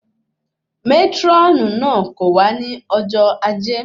Mátrónì náà kò wá ní ọjọ ajé